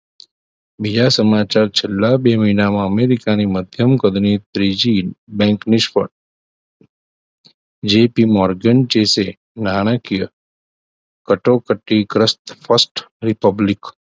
બીજા સમાચાર છેલ્લા બે મહિનામાં અમેરિકાના મધ્યમ કદની ત્રીજી bank નિષ્ફળ જીઈપી મોર્ગન જેસે નાણાકીય કટોકટી ગ્રસ્ત first republic